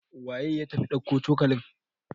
waye ya tafi dauko cokalin?